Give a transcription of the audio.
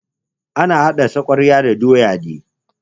Ana hada sakwara da doya ne.